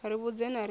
ri vhudze na riṋe ri